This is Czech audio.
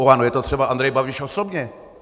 U ANO je to třeba Andrej Babiš osobně.